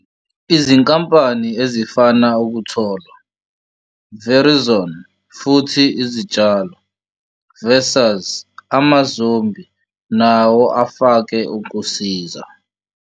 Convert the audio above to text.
Izinkampani ezifana Ukutholwa, Verizon futhi Izitshalo vs. AmaZombi nawo afake ukusiza.